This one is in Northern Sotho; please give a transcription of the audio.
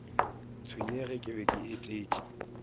tshwenyege ke be ke etetše